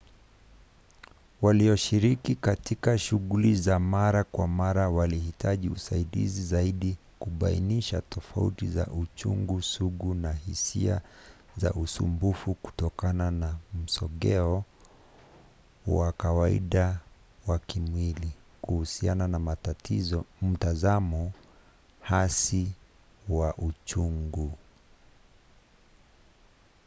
walioshiriki katika shughuli za mara kwa mara walihitaji usaidizi zaidi kubainisha tofauti za uchungu sugu na hisia za usumbufu kutokana na msogeo wa kawaida wa kimwili kuhusiana na mtazamo hasi wa uchungu